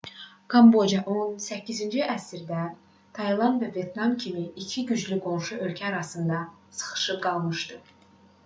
kamboca 18-ci əsrdə tayland və vyetnam kimi iki güclü qonşu ölkə arasında sıxışıb qalmışdı